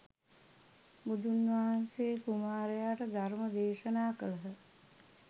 බුදුන් වහන්සේ කුමාරයාට ධර්ම දේශනා කළහ